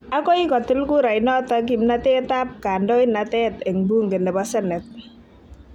Agoi kotil kurainot kimnatet ab kandoinatet eng bunge ne bo ssenet.